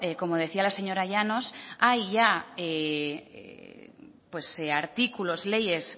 como decía la señora llanos hay ya artículos y leyes